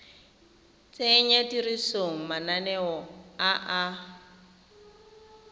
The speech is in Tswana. tsenya tirisong mananeo a a